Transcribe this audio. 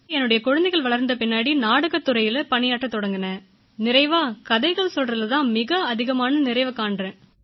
பிறகு என்னுடைய குழந்தைகள் வளர்ந்த பிறகு நான் நாடகத்துறையில் பணியாற்றத் தொடங்கினேன் நிறைவாக கதைகள் கூறுவதில் தான் மிக அதிகமான நிறைவு காண்கிறேன்